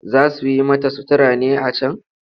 Za su yi mata sutura ne a can?